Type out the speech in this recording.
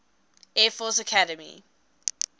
air force academy